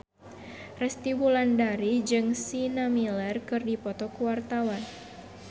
Resty Wulandari jeung Sienna Miller keur dipoto ku wartawan